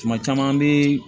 Tuma caman i bɛ